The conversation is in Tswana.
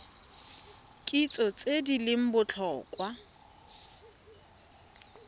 kitso tse di leng botlhokwa